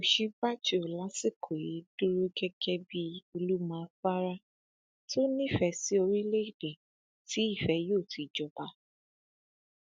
òsínbàjò lásìkò yìí dúró gẹgẹ bíi olùmọ afárá tó nífẹẹ sí orílẹèdè tí ìfẹ yóò ti jọba